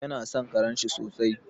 Yana son karenshi sosai.